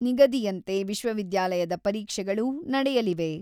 ನಿಗದಿಯಂತೆ ವಿಶ್ವವಿದ್ಯಾಲಯದ ಪರೀಕ್ಷೆಗಳು ನಡೆಯಲಿವೆ.